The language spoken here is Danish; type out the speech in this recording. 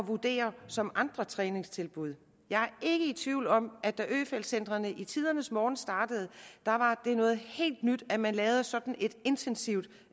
vurdere som andre træningstilbud jeg er ikke i tvivl om at da øfeldt centrene i tidernes morgen startede var det noget helt nyt at man lavede sådan et intensivt